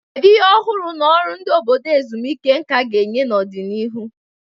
Kedu ihe ọhụrụ na ọrụ ndị obodo ezumike nka ga-enye n'ọdịnihu?